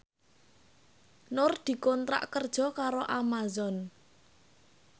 Nur dikontrak kerja karo Amazon